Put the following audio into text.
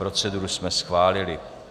Proceduru jsme schválili.